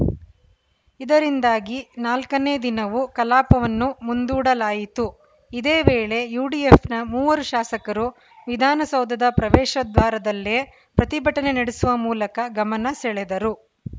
ಇದರಿಂದಾಗಿ ನಾಲ್ಕನೇ ದಿನವೂ ಕಲಾಪವನ್ನು ಮುಂದೂಡಲಾಯಿತು ಇದೇ ವೇಳೆ ಯುಡಿಎಫ್‌ನ ಮೂವರು ಶಾಸಕರು ವಿಧಾನಸೌಧದ ಪ್ರವೇಶದ್ವಾರದಲ್ಲೇ ಪ್ರತಿಭಟನೆ ನಡೆಸುವ ಮೂಲಕ ಗಮನ ಸೆಳೆದರು